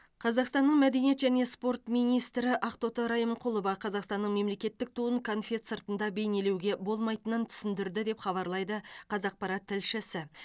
қазақстанның мәдениет және спорт министрі ақтоты райымқұлова қазақстанның мемлекеттік туын конфет сыртында бейнелеуге болмайтынын түсіндірді деп хабарлайды қазақпарат тілшісі